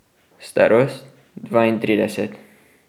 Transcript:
Starost dvaintrideset.